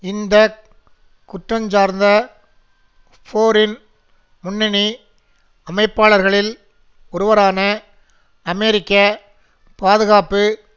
இந்த குற்றஞ்சார்ந்த போரின் முன்னணி அமைப்பாளர்களில் ஒருவரான அமெரிக்க பாதுகாப்பு